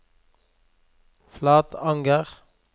Flatanger